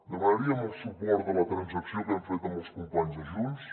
demanaríem el suport de la transacció que hem fet amb els companys de junts